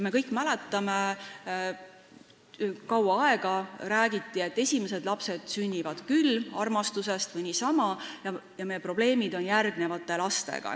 Me kõik mäletame seda, sellest on kaua räägitud, et esimesed lapsed sünnivad küll, kas siis armastusest või niisama, aga probleem on järgmiste lastega.